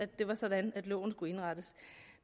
det var sådan at loven skulle indrettes